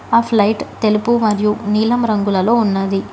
ఆ ఫ్లైట్ తెలుపు మరియు నీలం రంగులలో ఉన్నది.